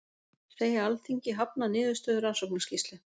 Segja Alþingi hafna niðurstöðu rannsóknarskýrslu